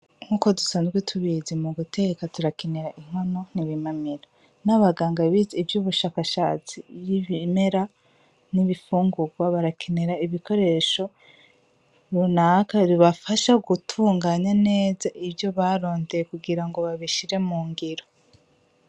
Nkuko dusanzwe tubizi mu guteka turakenera inkono nibimamiro, n’abaganga bize ivyubushakashatsi vy’ibimera n’ibifungurwa barakenera ibikoresho runaka bibafasha gutunganya neza ivyo barondeye kugira ngo babishire mu ngero.